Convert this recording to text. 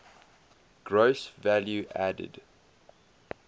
gross value added